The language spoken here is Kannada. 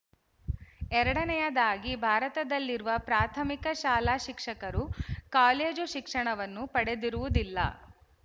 ಎರಡನೆಯದಾಗಿ ಭಾರತದಲ್ಲಿರುವ ಪ್ರಾಥಮಿಕ ಶಾಲಾಶಿಕ್ಷಕರು ಕಾಲೇಜು ಶಿಕ್ಷಣವನ್ನು ಪಡೆದಿರುವುದಿಲ್ಲ